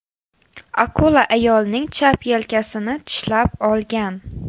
Akula ayolning chap yelkasini tishlab olgan.